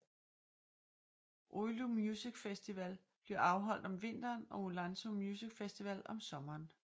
Oulu Music Festival bliver afholdt om vinteren og Oulunsalo Music Festival om sommeren